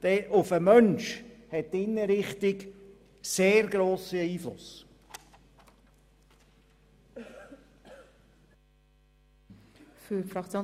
Denn auf den Menschen hat die Inneneinrichtung einen sehr grossen Einfluss.